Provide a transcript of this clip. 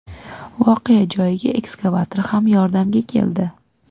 Voqea joyiga ekskavator ham yordamga keldi.